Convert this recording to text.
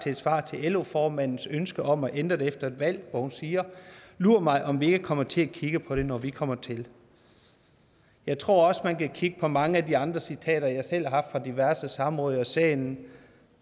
et svar til lo formandens ønske om at ændre det efter et valg hvor hun siger lur mig om vi ikke kommer til at kigge på det når vi kommer til jeg tror også at man kan kigge på mange af de andre citater jeg selv har haft fra diverse samråd og i salen